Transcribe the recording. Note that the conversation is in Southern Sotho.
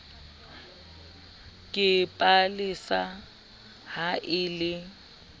ke palesa ha e le